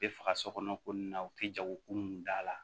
U bɛ faga sokɔnɔ ko nin na u tɛ jago kun da la